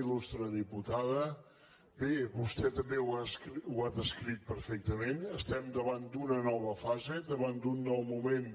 iltada bé vostè també ho ha descrit perfectament estem davant d’una nova fase davant d’un nou moment